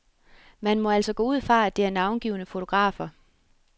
Man må altså gå ud fra, at det er navngivne fotografer.